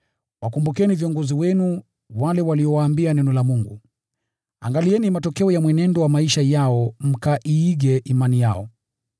Wakumbukeni viongozi wenu, wale waliowaambia neno la Mungu. Angalieni matokeo ya mwenendo wa maisha yao mkaiige imani yao.